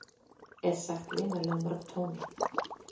er sagt vinalegum tóni.